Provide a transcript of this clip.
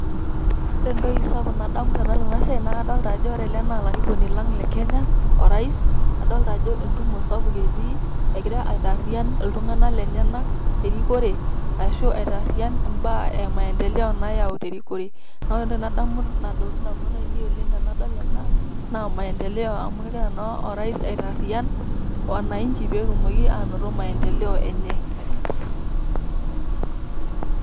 Ore ntoki sapuk nadamu tenadol ena siai naa kadolita ajo ore lee na lairikoni laang' le Kenya orais. Adolita ajo entumoo sapuk etii egiraa aitarian iltung'anak lenyanak erikore ashoo atarian baya e maendeleo nayau te rikoree. Naa ore ntoki nadamu nadoluu ndaamunoot ainen oleng tenadol ena naa maendelo amu kegiraa naa orais atarian wananchi pee tumooki anotoo maendeleo enye.